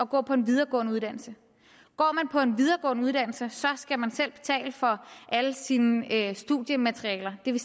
gå på en videregående uddannelse går man på en videregående uddannelse skal man selv betale for alle sine studiematerialer det vil